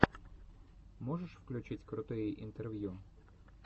можешь включить крутые интервью